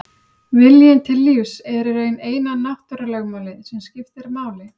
Viljinn til lífs er í raun eina náttúrulögmálið sem skiptir máli.